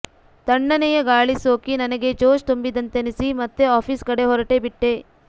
ತಣ್ಣನೆಯ ಗಾಳಿ ಸೋಕಿ ನನಗೆ ಜೋಶ್ ತುಂಬಿದಂತೆನಿಸಿ ಮತ್ತೆ ಆಫೀಸ್ ಕಡೆ ಹೊರಟೇಬಿಟ್ಟೆ